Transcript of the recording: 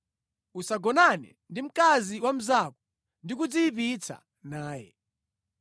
“ ‘Usagonane ndi mkazi wa mnzako ndi kudziyipitsa naye.